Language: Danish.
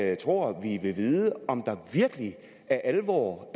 jeg tror vi vil vide om der virkelig er alvor